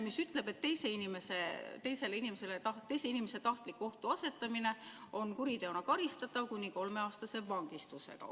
ütleb, et teise inimese tahtlik ohtuseadmine on kuriteona karistatav kuni kolmeaastase vangistusega.